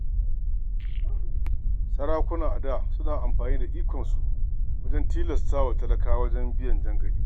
Sarakuna a da suna amfani da ikonsu wajen tilastawa talakawa biyan jangali.